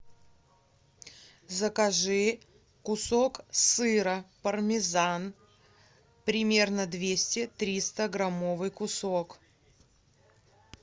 закажи кусок сыра пармезан примерно двести тристаграммовый кусок